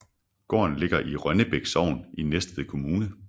Gården ligger i Rønnebæk Sogn i Næstved Kommune